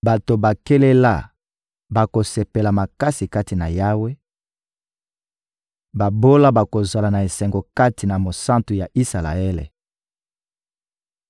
Bato bakelela bakosepela makasi kati na Yawe, babola bakozala na esengo kati na Mosantu ya Isalaele.